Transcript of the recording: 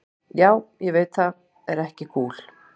Já, ég veit það er ekki kúl.